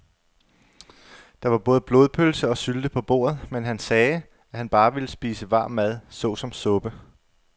Der var både blodpølse og sylte på bordet, men han sagde, at han bare ville spise varm mad såsom suppe.